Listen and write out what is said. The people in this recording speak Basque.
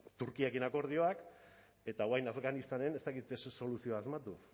turkiarekin akordioak eta orain afganistanen ez dakit soluzioa asmatu